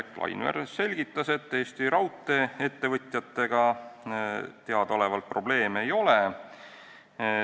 Indrek Laineveer selgitas, et Eesti raudtee-ettevõtjatega teadaolevalt probleeme ei ole.